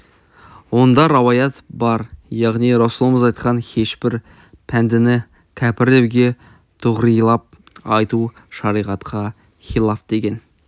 онда рауаят бар яғни расулымыз айтқан һешбір пәндені кәпір деуге туғрилап айту шариғатқа хилаф деген